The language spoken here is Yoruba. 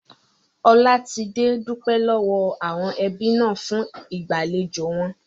Olatide dupe lowo awon ebi na fun igbalejò won